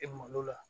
E malo la